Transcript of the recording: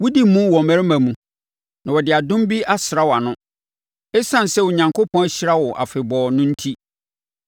Wodi mu wɔ mmarima mu na wɔde adom bi asra wʼano, ɛsiane sɛ Onyankopɔn ahyira wo afebɔɔ no enti.